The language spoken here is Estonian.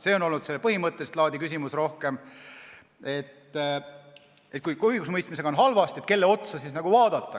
See on olnud rohkem põhimõttelist laadi küsimus, et kui ikka õigusemõistmisega on halvasti, kelle otsa siis vaadata.